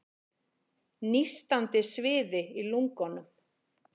Nístandi sviði í lungunum.